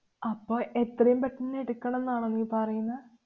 അപ്പൊ എത്രേം പെട്ടന്ന് എടുക്കണം ന്നാണോ നീ പറയുന്ന?